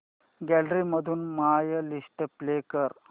gallery मधून my list play कर